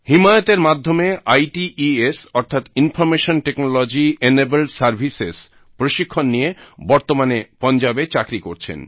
হিমায়ত এর মাধ্যমে আইটেস অর্থাৎ ইনফরমেশন টেকনোলজি এনেবল্ড সার্ভিসেস প্রশিক্ষণ নিয়ে বর্তমানে পাঞ্জাবে চাকরি করছেন